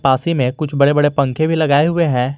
में कुछ बड़े बड़े पंखे भी लगाए हुए हैं।